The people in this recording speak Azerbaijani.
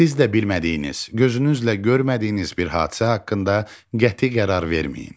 Siz də bilmədiyiniz, gözünüzlə görmədiyiniz bir hadisə haqqında qəti qərar verməyin.